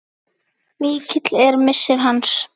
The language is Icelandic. Mikill er missir hans.